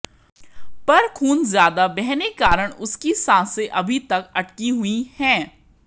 पर खून ज्यादा बहने के कारण उसकी सांसे अभी तक अटकी हुई हैं